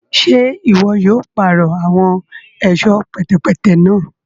Ṣe iwọ yóò parọ awọn ẹṣọ pẹtẹpẹtẹ náà?